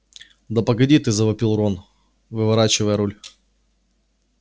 да погоди ты завопил рон выворачивая руль